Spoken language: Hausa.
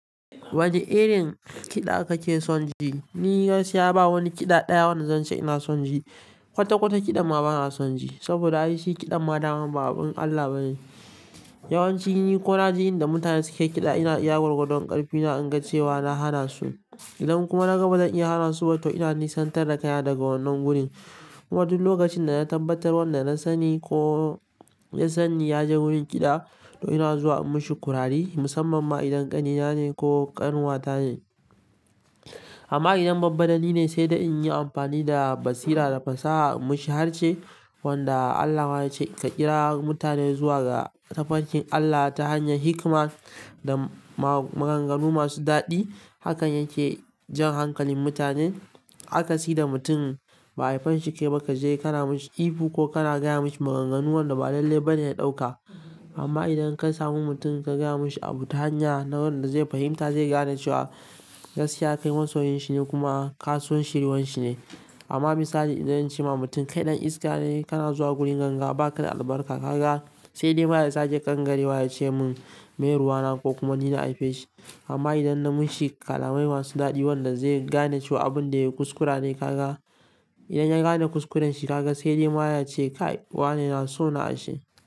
Wane irin kida kake son ji? Ni gaskiya ba wani kiɗa ɗaya wanda zance ina son ji. Kwata-kwata kiɗan ma bana son ji, saboda aishi kiɗan ma daman ba abin Allah ba ne. Yawanci ni ko naji inda mutane suke kiɗa, ina iya gwargwadon ƙarfina in ga cewa na hana su. Idan kuma na gaba zan iya hana su, to ina nisantar da kaiya daga wannan wurin. Kuma duk lokacin dana tabbatar wanda na sani ko na sani ya je wurin kida to ina zuwa in yi mishi kurare musamman ma idan kani na ne ko kanuwa tane amma idan babba dani ne sai da in yi amfani da basira da fasaha in mishi harce. Wanda Allah ma yace ka kira mutane ga ta fankin Allah ta hanyan hikima da ma maganganu masu dadi. Hakan yake jan hankalin mutanen. A ka si da mutum ba haifanshi ke ba ka je ka na mishi ihu ko ka na gaya mashi maganganu wanda ba lalle ba ne ya ɗauka. Amma idan ka samu mutum ka gaya mashi abu ta hanya na wanda zai fahimta, zai gane cewa gaskiya kai masoyinshi ne kuma ka so shiryuwan shi ne. Amma misali idan in ce ma mutum kai ɗan iska ne, kana zuwa gurin ganga ba ka da albarka, ka ga sai dai ma ya zage kan gare wa ya ce mun mai ruwa na ko kuma ni na haife shi. Amma idan na mishi kalamai masu ɗadi wanda zai gane cewa abin da yayi kuskura ne, ka ga idan ya gane kuskurenshi ka ga sai dai ma ya ce kai wane na so na a shi.